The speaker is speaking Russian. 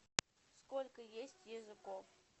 сколько есть языков